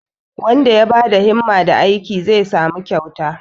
wanda ya ba da himma da aiki zai samu kyauta